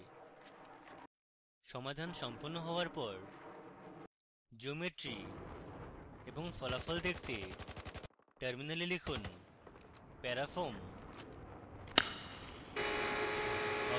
সমাধান সম্পন্ন হওয়ার পর জিওমেট্রি এবং ফলাফল দেখতে টার্মিনালে লিখুন parafoam